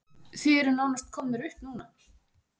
Þið eruð nánast komnir upp núna?